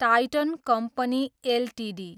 Titan company Ltd